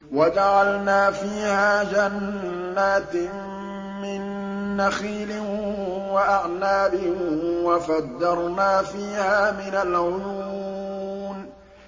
وَجَعَلْنَا فِيهَا جَنَّاتٍ مِّن نَّخِيلٍ وَأَعْنَابٍ وَفَجَّرْنَا فِيهَا مِنَ الْعُيُونِ